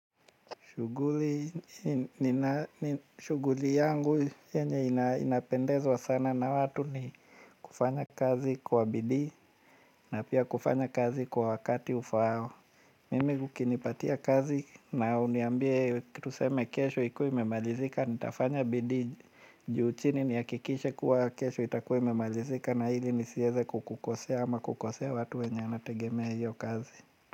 Shuguli yangu yenye inapendezwa sana na watu ni kufanya kazi kwa bidii na pia kufanya kazi kwa wakati ufao. Mimi ukinipatia kazi na uniambie kitu tuseme kesho ikuwe imemalizika, nitafanya bidii juu chini niakikishe kuwa kesho itakuwea imemalizika na ili nisieze kukukosea ama kukosea watu wenye wanategemea hiyo kazi.